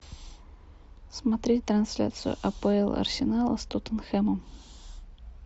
смотреть трансляцию апл арсенала с тоттенхэмом